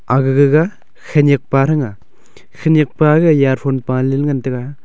aga gaga khanyak pa thanga Khanyak pa e earphone pale le ngan taga.